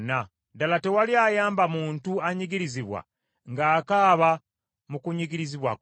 “Ddala tewali ayamba muntu anyigirizibwa ng’akaaba mu kunyigirizibwa kwe.